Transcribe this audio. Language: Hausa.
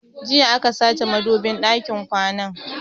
Jiya aka sace madubin ɗakin kwanan